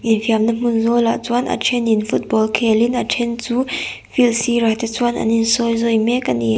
infiamna hmun zawlah chuan a thenin football khelin a then chu field sirah te chuan an insawizawi mek a ni.